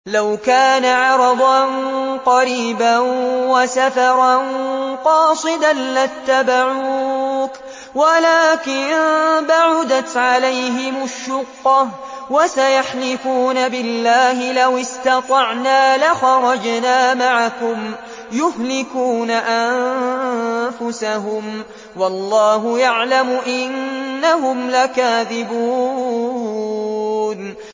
لَوْ كَانَ عَرَضًا قَرِيبًا وَسَفَرًا قَاصِدًا لَّاتَّبَعُوكَ وَلَٰكِن بَعُدَتْ عَلَيْهِمُ الشُّقَّةُ ۚ وَسَيَحْلِفُونَ بِاللَّهِ لَوِ اسْتَطَعْنَا لَخَرَجْنَا مَعَكُمْ يُهْلِكُونَ أَنفُسَهُمْ وَاللَّهُ يَعْلَمُ إِنَّهُمْ لَكَاذِبُونَ